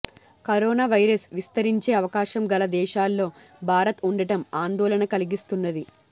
corona virus విస్తరించే అవకాశం గల దేశాల్లో భారత్ ఉండటం ఆందోళన కలిగిస్తున్నది